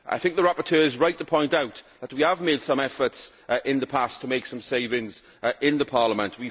I think the rapporteur is right to point out that we have made some efforts in the past to make some savings in Parliament.